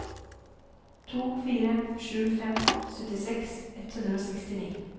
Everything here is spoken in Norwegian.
to fire sju fem syttiseks ett hundre og sekstini